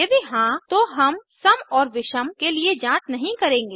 यदि हाँ तो हम सम और विषम के लिए जांच नहीं करेंगे